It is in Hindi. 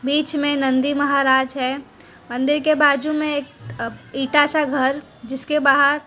बीच में नंदी महाराज है मंदिर के बाजू में एक अह इंटा सा घर जिसके बाहर--